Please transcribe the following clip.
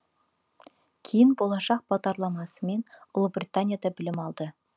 кейін болашақ бағдарламасымен ұлыбританияда білім алды